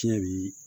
Fiɲɛ bi